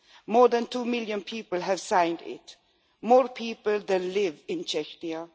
More than two million people have signed it, more people than live in Chechnya.